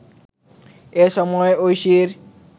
এ সময় ঐশীর